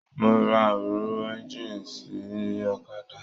Mo rà òróró ẹ̀ngiini sí ọ̀kàdà.